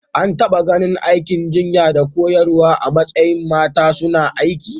An taɓa ganin aikin jinya da koyarwa a matsayin mata suna aiki.